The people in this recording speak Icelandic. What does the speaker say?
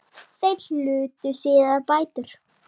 Þeir hlutu síðar bætur.